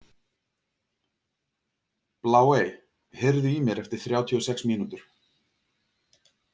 Bláey, heyrðu í mér eftir þrjátíu og sex mínútur.